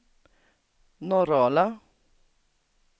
Norrala